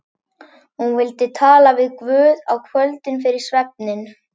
Hún vildi tala við Guð á kvöldin fyrir svefninn.